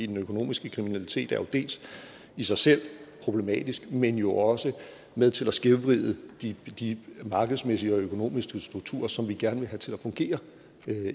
den økonomiske kriminalitet er i sig selv problematisk men jo også med til at skævvride de de markedsmæssige og økonomiske strukturer som vi gerne vil have til at fungere